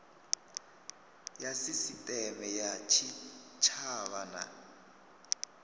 ya sisiteme ya tshitshavha na